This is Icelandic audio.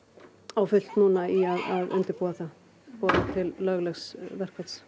á fullt núna í að undirbúa það boða til löglegs verkfalls